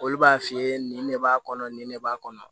Olu b'a f'i ye nin ne b'a kɔnɔ nin ne b'a kɔnɔ